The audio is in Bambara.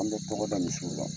An bɛ tɔgɔda misiw la.